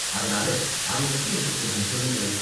அதனால அதைப் பத்தி எனக்கு கொஞ்சம் சொல்லுங்களேன்.